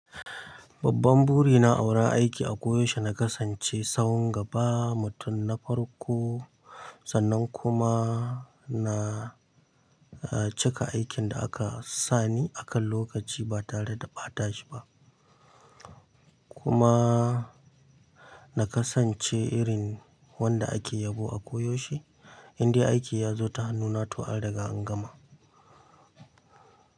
Babban buri na awurin aiki a koyaushe na kasance sahun gaba mutum na farko sannan kuma na cika aikin da aka sani akan lokaci ba tare da ɓata shi ba. Kuma na kasance irin wanda ake yabo a koyaushe, indai aiki ya zo ta hannuna to an riga an gama.